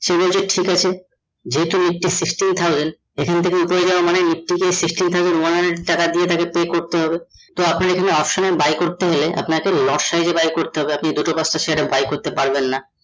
সে বলছে ঠিক আছে যেহেতু nifty sixteen thousand এখন থেকে ওপরে যাওয়া মানে nifty কে sixteen thousand one hundred টাকা দিয়ে ইটা কে pay করতে হবে । তো আপনার এখানে option এ buy করতে হলে আপনাকে buy করতে হবে, আপনি দুটো পাঁচটা share এ buy করতে পারবেন না